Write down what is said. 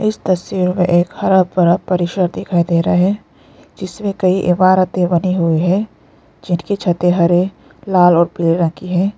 इस तस्वीर में एक हरा भरा परिसर दिखाई दे रहा है जिसमें कई इमारतें बनी हुई है जिनकी छतें हरे लाल और पीले रंग की है।